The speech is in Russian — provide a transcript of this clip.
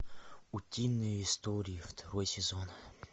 утиные истории второй сезон